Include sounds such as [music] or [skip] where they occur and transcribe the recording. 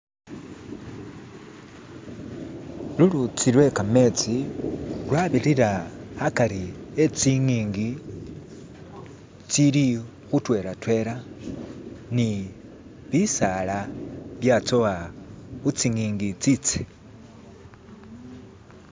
"[skip]" lulutsi lwe kametsi lwabirira akari e'tsing'ingi tsili khutwelatwela ni bisaala byatsowa kutsingingi itsitsi "[skip]" .